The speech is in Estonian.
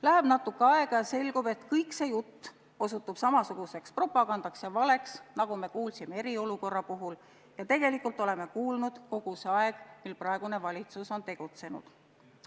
Läheb natuke aega ja selgub, et kogu see jutt osutub samasuguseks propagandaks ja valeks, nagu me kuulsime eriolukorra puhul ja nagu tegelikult oleme kuulnud kogu see aeg, kui praegune valitsus on tegutsenud.